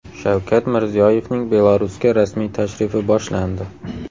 Shavkat Mirziyoyevning Belarusga rasmiy tashrifi boshlandi.